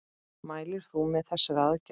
Mælir þú með þessari aðgerð?